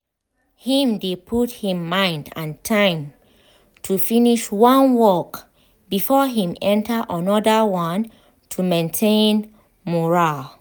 him dey put him mind and time to finish one work before him enter anoda one to maintain mural